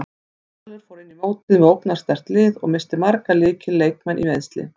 Valur fór inn í mótið með ógnarsterkt lið og missti marga lykil leikmenn í meiðsli.